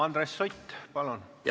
Andres Sutt, palun!